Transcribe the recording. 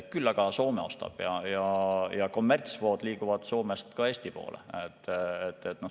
Küll aga Soome ostab ja kommertsvood liiguvad Soomest ka Eesti poole.